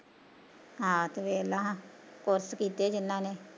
ਹਾ ਤੂੰ ਵੇਖਲਾ course ਕੀਤੇ ਆ ਜਿੰਨਾਂ ਨੇ